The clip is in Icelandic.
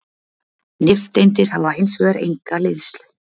nifteindir hafa hins vegar enga hleðslu